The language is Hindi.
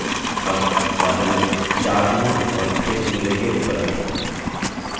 अब बादल 4 चुनें और इसे सूर्य के ऊपर रखें